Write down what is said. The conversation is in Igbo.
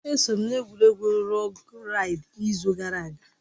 Eso m n'egwuregwu lọg raịd n'izu gara aga